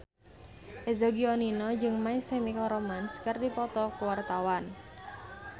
Eza Gionino jeung My Chemical Romance keur dipoto ku wartawan